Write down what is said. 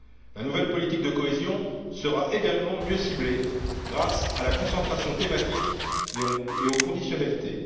La nouvelle politique de cohésion sera également mieux ciblée grâce à la concentration thématique et aux conditionnalités.